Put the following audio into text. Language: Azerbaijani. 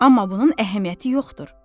Amma bunun əhəmiyyəti yoxdur.